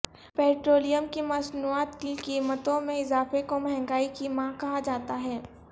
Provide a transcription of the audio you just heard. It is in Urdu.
پیٹرولیم کی مصنوعات کی قیمتوں میں اضافے کو مہنگائی کی ماں کہا جاتا ہے